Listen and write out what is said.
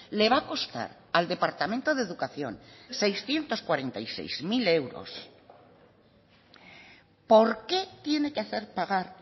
le va a costar al departamento de educación seiscientos cuarenta y seis mil euros por qué tiene que hacer pagar